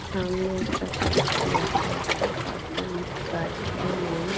সামনে একটা বালতি রাখা আছে বালতির নি কাছে তে--